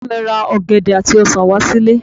Bàbá mi ra ọ̀gẹ̀dẹ̀ àti ọsàn wá sí ilé